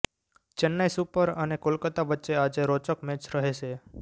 Chennai super અને કોલકાતા વચ્ચે આજે રોચક મેચ રહેશે